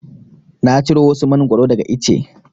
Na ciro wasu Mangwaro daga ice.